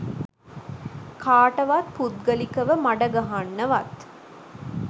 කාටවත් පුද්ගලිකව මඩ ගහන්නවත්